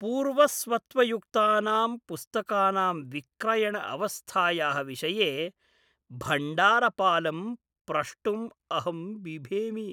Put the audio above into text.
पूर्वस्वत्वयुक्तानां पुस्तकानां विक्रयण अवस्थायाः विषये भण्डारपालं प्रष्टुम् अहं बिभेमि।